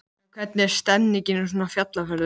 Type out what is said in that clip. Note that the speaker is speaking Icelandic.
En hvernig er stemningin í svona fjallferðum?